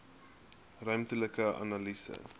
ruimtelike analise